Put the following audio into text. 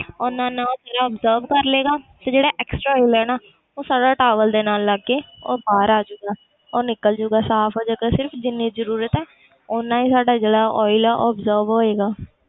ਓਨਾ ਓਨਾ ਉਹ ਤੇਰਾ obsorb ਕਰ ਲਏਗਾ ਫਿਰ ਜਿਹੜਾ extra oil ਹੈ ਨਾ ਉਹ ਸਾਰਾ towel ਦੇ ਨਾਲ ਲੱਗ ਕੇ ਉਹ ਬਾਹਰ ਆ ਜਾਊਗਾ ਉਹ ਨਿਕਲ ਜਾਏਗਾ ਸਾਫ਼ ਹੋ ਜਾਏਗਾ ਸਿਰਫ਼ ਜਿੰਨੀ ਜ਼ਰੂਰਤ ਹੈ ਓਨਾ ਹੀ ਸਾਡਾ ਜਿਹੜਾ oil ਹੈ ਉਹ absorb ਹੋਏਗਾ।